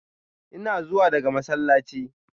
Ina zuwa daga masallaci.